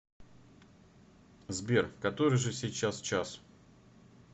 сбер который же сейчас час